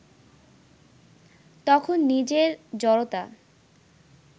তখন নিজের জড়তা